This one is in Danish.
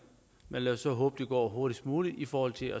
lad os så håbe det går hurtigst muligt i forhold til